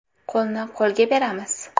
Qo‘lni qo‘lga beramiz!